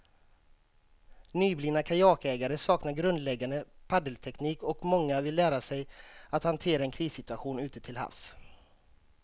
Nyblivna kajakägare saknar grundläggande paddelteknik och många vill lära sig att hantera en krissituation ute till havs.